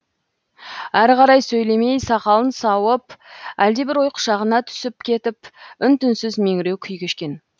әрі қарай сөйлемей сақалын сауып әлдебір ой құшағына түсіп кетіп үн түнсіз меңіреу күй кешкен